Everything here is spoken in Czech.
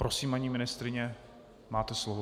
Prosím, paní ministryně, máte slovo.